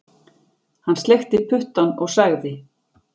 Hann sleikti puttann og sagði